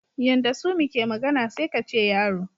Yanda Sumi ke magana sai kace yaro.